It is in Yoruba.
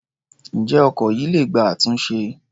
Ǹjẹ́ ọkọ̀ yìí le gba àtúnṣe?